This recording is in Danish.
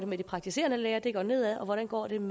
med de praktiserende læger hvor det går nedad og hvordan